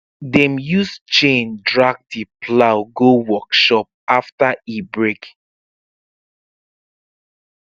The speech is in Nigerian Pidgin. dem use chain drag the plow go workshop after e break